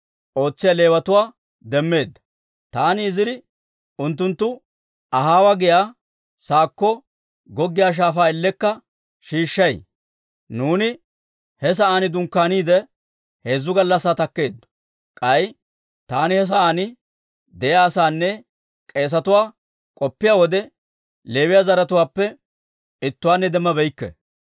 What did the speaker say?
Taani Iziri unttunttu Ahaawa giyaa sa'aakko goggiyaa shaafaa ellekka shiishshay. Nuuni he sa'aan dunkkaaniide, heezzu gallassaa takkeeddo. K'ay taani he sa'aan de'iyaa asaanne k'eesetuwaa k'opiyaa wode, Leewiyaa zaratuwaappe ittuwaanne demmabeykke.